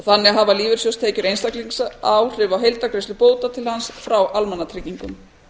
þannig hafa lífeyrissjóðstekjur einstaklings áhrif á heildargreiðslur bóta til hans frá almannatryggingum